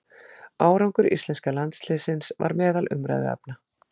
Árangur íslenska landsliðsins var meðal umræðuefna.